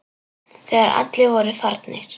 Þegar allir voru farnir.